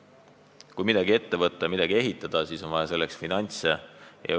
Kui on soov midagi ette võtta ja midagi ehitada, siis on selleks ka finantse vaja.